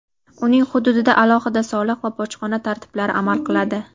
uning hududida alohida soliq va bojxona tartiblari amal qiladi.